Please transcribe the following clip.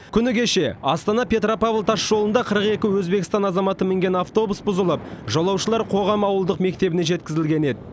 күні кеше астана петропавл тасжолында қырық екі өзбекстан азаматы мінген автобус бұзылып жолаушылар қоғам ауылдық мектебіне жеткізілген еді